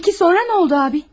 Peki sonra nə oldu abi?